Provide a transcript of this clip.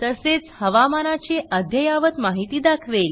तसेच हवामानाची अद्ययावत माहिती दाखवेल